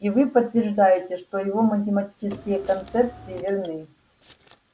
и вы подтверждаете что его математические концепции верны